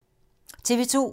TV 2